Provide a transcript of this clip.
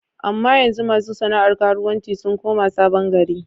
Amma yanzu ma su sana'ar karuwanci sun koma Sabon gari.